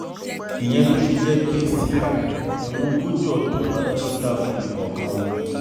ìyẹn ló ṣe jẹ́ pé síra ẹ̀wọ̀n ogójì ọdún ládàjọ́ dá fún ẹnì kọ̀ọ̀kan wọn